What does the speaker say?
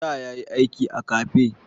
Da ya yi aiki a kafe.